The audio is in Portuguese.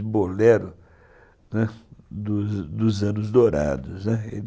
bolero, né, dos anos dourados.